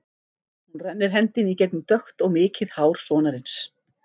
Hún rennir hendinni í gegnum dökkt og mikið hár sonarins.